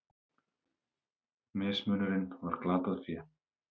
Mismunurinn var glatað fé.